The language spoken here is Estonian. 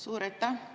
Suur aitäh!